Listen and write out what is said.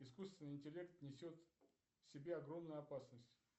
искусственный интеллект несет в себе огромную опасность